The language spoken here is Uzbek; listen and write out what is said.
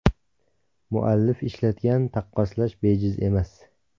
Muallif ishlatgan taqqoslash bejiz emas.